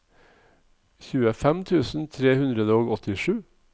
tjuefem tusen tre hundre og åttisju